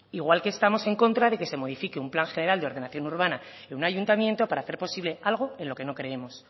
igual que estamos en contra de que se modifique un plan general de ordenación urbana en un ayuntamiento para hacer posible algo en lo que no creemos